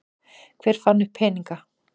Hver fann upp peningana?